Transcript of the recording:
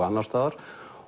annars staðar